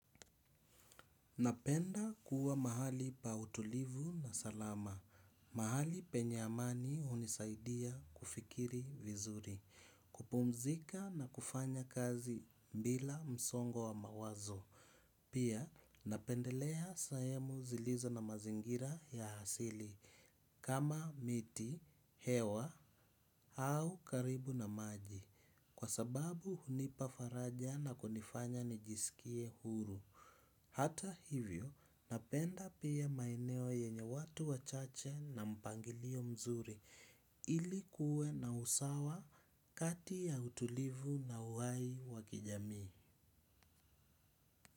Napenda kuwa mahali pa utulivu na salama. Mahali penye amani hunisaidia kufikiri vizuri. Kupumzika na kufanya kazi bila msongo wa mawazo. Pia napendelea sehemu zilizo na mazingira ya asili. Kama miti, hewa au karibu na maji. Kwa sababu hunipa faraja na kunifanya nijisikie huru. Hata hivyo napenda pia maeneo yenye watu wachache na mpangilio mzuri ili kuwe na usawa kati ya utulivu na uhai wa kijamii.